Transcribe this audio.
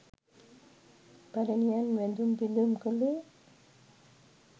පැරැණියන් වැඳුම් පිදුම් කළේ